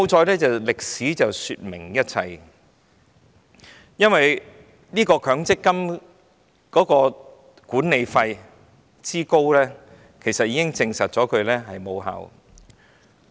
幸好歷史說明一切，因為強積金管理費之高已經證實強積金無效。